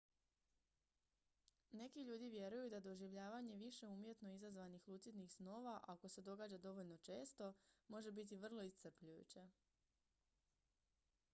neki ljudi vjeruju da doživljavanje više umjetno izazvanih lucidnih snova ako se događa dovoljno često može biti vrlo iscrpljujuće